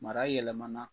Mara yɛlɛmana